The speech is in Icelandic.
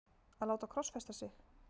að láta krossfesta sig?